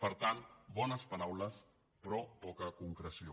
per tant bones paraules però poca concreció